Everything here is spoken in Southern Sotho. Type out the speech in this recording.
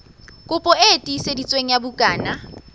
kopi e tiiseditsweng ya bukana